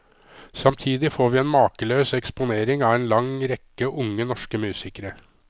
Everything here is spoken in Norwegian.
Samtidig får vi en makeløs eksponering av en lang rekke unge norske musikere.